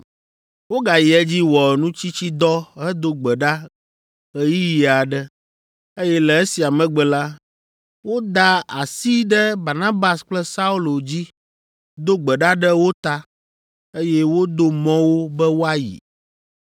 Wogayi edzi wɔ nutsitsidɔ hedo gbe ɖa ɣeyiɣi aɖe, eye le esia megbe la, woda asi ɖe Barnabas kple Saulo dzi, do gbe ɖa ɖe wo ta, eye wodo mɔ wo be woayi.